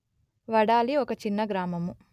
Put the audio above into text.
వడాలి ఒక చిన్న గ్రామము